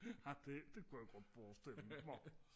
ah det det kunne jeg godt forstille mig